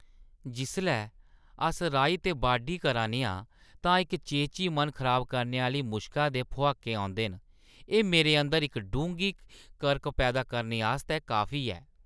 जिसलै अस राही ते बाड्ढी करा 'रने आं तां इक चेची मन खराब करने आह्‌ली मुश्का दे भुआके औंदे न, एह् मेरे अंदर इक डूंह्‌गी करक पैदा करने आस्तै काफी ऐ।